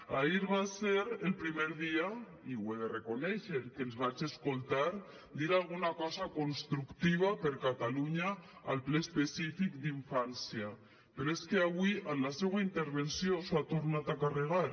ahir va ser el primer dia i ho he de reconèixer que els vaig escoltar dir alguna cosa constructiva per a catalunya al ple específic d’infància però és que avui en la seua intervenció s’ho ha tornat a carregar